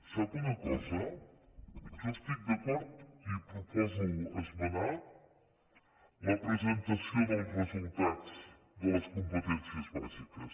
sap una cosa jo hi estic d’acord i proposo esmenar la presentació dels resultats de les competències bàsiques